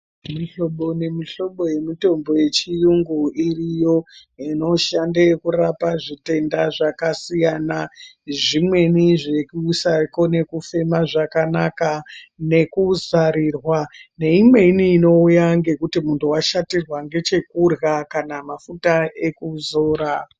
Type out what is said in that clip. Mihlobo nemihlobo yemitombo yechiyungu iriyo inoshande kurapa zvitenda zvakasiyana. Zvimweni zvekusakone kufema zvakanaka nekuzarirwa. Neimweni inouya ngekuti muntu washatirwa ngechekurya kana mafuta ekuzora.